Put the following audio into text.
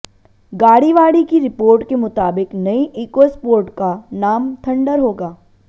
गाड़ीवाड़ी की रिपोर्ट के मुताबिक नई इकोस्पोर्ट का नाम थंडर होगा